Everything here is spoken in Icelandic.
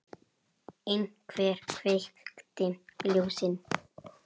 Einhver kveikti ljósin.